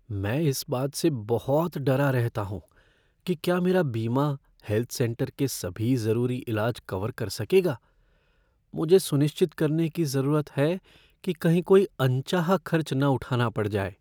मैं इस बात से बहुत डरा रहता हूँ कि क्या मेरा बीमा हेल्थ सेंटर के सभी जरूरी इलाज कवर कर सकेगा। मुझे सुनिश्चित करने की जरूरत है कि कहीं कोई अनचाहा खर्च न उठाना पड़ जाए।